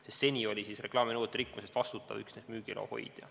Sest seni oli eklaami nõuete rikkumise eest vastutav üksnes müügiloa hoidja.